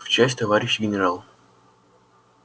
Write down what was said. в часть товарищ генерал